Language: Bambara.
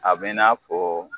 A b"i na fɔ